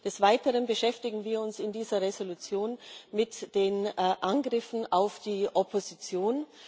Des Weiteren beschäftigen wir uns in dieser Entschließung mit den Angriffen auf die Opposition.